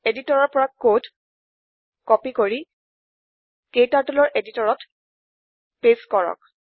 এডিটৰতৰ পৰা code copy কৰি KTurtleৰ এডিটৰতত পেচ্ট কৰক